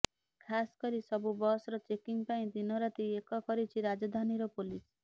ଖାସ୍ କରି ସବୁ ବସର ଚେକିଂ ପାଇଁ ଦିନରାତି ଏକ କରିଛି ରାଜଧାନୀର ପୋଲିସ